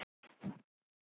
Ert þú á útleið?